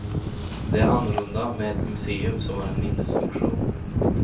Det är annorlunda med ett museum, som har en minnesfunktion.